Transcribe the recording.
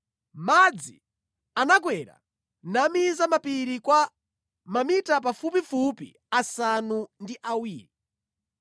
Madzi anakwera namiza mapiri kwa mamita pafupifupi asanu ndi awiri.